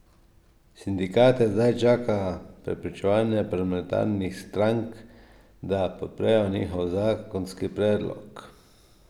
Sindikate zdaj čaka prepričevanje parlamentarnih strank, da podprejo njihov zakonski predlog.